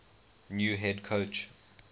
new head coach